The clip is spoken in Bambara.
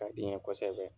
Ka di n ye kosɛbɛ